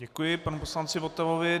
Děkuji panu poslanci Votavovi.